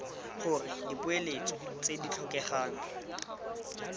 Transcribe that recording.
gore dipoeletso tse di tlhokegang